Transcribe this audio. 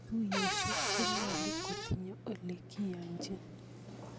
Tuyosyek konyolu kotinye olekiachin.